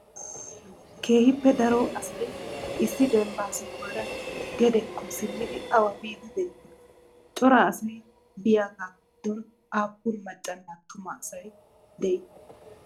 keehipee daro asay issi dembba sohuwaraa gedeekko simmidi awa biyddi de7iyonaa? cora asay biyagaa giddon appun macaanne attumma asati de7iyonaa?